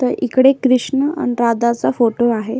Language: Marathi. तर इकडे एक कृष्ण अन राधाचा फोटो आहे.